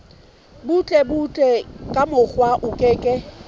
butlebutle ka mokgwa o ke